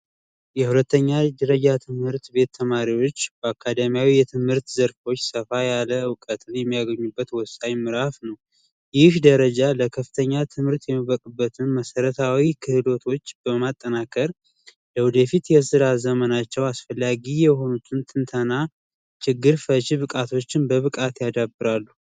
የሁለተኛ ደረጃ ትምህርት ተማሪዎች በአካዳሚ ደረጃ ሰፋ ያለ እውቀት የሚያገኙበት ወሳኝ ምዕራፍ ነው ይህ ደረጃ ለከፍተኛ የትምህርት የሚበቁበትን መሰረታዊ ክህሎቶች በማጠናከር የወደፊት የስራ ዘመናቸው አስፈላጊ የሆኑ ትንተና፣ ችግር ፈቺ የሆኑ ብቃቶችን ያዳብራሉ።